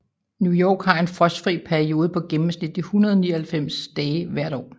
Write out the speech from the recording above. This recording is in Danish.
New York har en frostfri periode på gennemsnitligt 199 dage hvert år